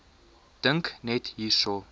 dink net hierso